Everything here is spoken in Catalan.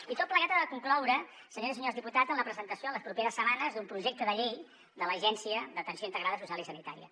i tot plegat ha de concloure senyores i senyors diputats en la presentació en les properes setmanes d’un projecte de llei de l’agència d’atenció integrada social i sanitària